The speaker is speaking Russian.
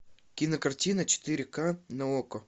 кинокартина четыре ка на окко